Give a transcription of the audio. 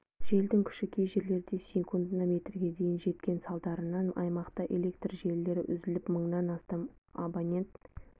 желдің күші кей жерлерде секундына метрге дейін жеткен салдарынан аймақта электр желілері үзіліп мыңнан астам абонент